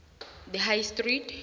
the high street